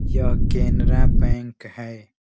यह केनरा बैंक है।